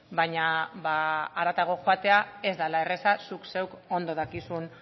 baina haratago joatea ez dala erreza zuk zeuk ondo dakizun